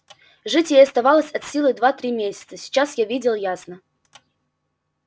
жить ей оставалось от силы два-три месяца сейчас я видел ясно